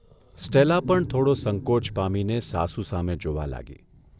Stella પણ થોડો સંકોચ પામીને સાસુ સામે જોવા લાગી